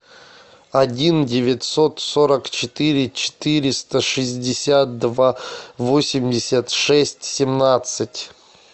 один девятьсот сорок четыре четыреста шестьдесят два восемьдесят шесть семнадцать